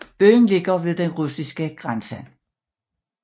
Byen ligger ved den russiske grænse